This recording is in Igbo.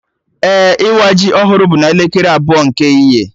Ee, ịwa ji ọhụrụ bụ n'elekere abụọ nke ehihie